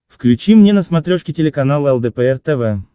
включи мне на смотрешке телеканал лдпр тв